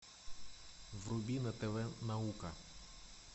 вруби на тв наука